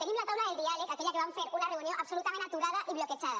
tenim la taula del diàleg aquella que vam fer una reunió absolutament aturada i bloquejada